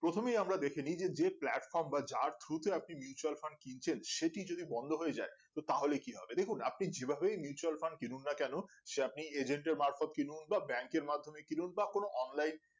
প্রথমেই আমরা দেখে নেই যে platform বা যার through তে আপনি mutual fundmutual fund কিনুন না কেন সে আপনি agent মারফত কিনুন বা bank এর মাধ্যমে কিনুন বা কোন online